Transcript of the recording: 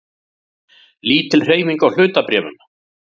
Lítil hreyfing á hlutabréfum